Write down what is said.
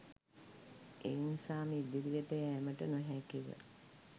ඒ නිසාම ඉදිරියට යෑමට නොහැකිව